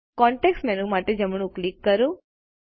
context menu માટે જમણું click કરો